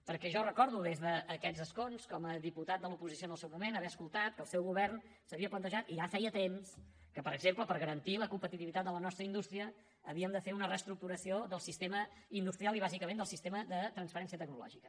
perquè jo recordo des d’aquests escons com a diputat de l’oposició en el seu moment haver escoltat que el seu govern s’havia plantejat i ja feia temps que per exemple per garantir la competitivitat de la nostra indústria havíem de fer una reestructuració del sistema industrial i bàsicament del sistema de transferència tecnològica